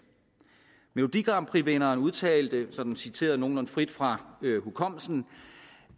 melodigrandprixvinderen udtalte sådan citeret nogenlunde frit fra hukommelsen